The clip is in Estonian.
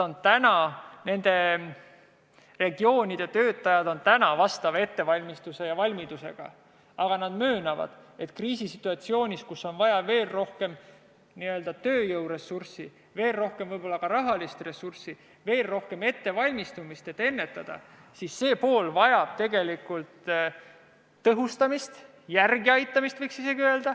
Nende regioonide töötajad on vastava ettevalmistuse ja valmidusega, aga nad möönavad, et kriisisituatsioonis, kus on vaja veel rohkem tööjõudu, võib-olla ka veel rohkem rahalist ressurssi, veel rohkem ettevalmistust, et ennetada, vajab see pool tegelikult tõhustamist, võiks isegi öelda, et järeleaitamist.